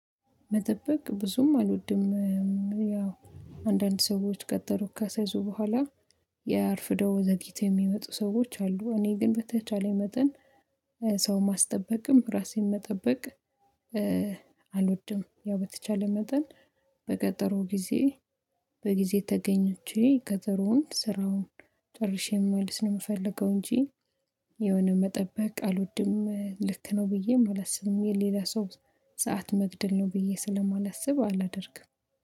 መጠበቅ ብዙም አልወድም። ያው አንዳንድ ሰዎች ቀጠሮ ካሳያቸው በኋላ ያርፍደው ዘግይተው የሚመጡ ሰዎች አሉ። እኔ ግን በተቻለኝ መጠን ሰው ማስጠበቅም ራሴን መጠበቅ አልወድም። ያው በተቻለ መጠን በቀጠሮ ጊዜ በጊዜ ተገኝቼ ቀጠሮውን ስራውን ጨርሼ መልስ ነው የምፈልገው እንጂ የሆነ መጠበቅ አልወድም። ልክ ነው ብዬ የማላስብም የሌላ ሰው ሰዓት መግደል ነው ብዬ ስለማላስብ አላደርግም።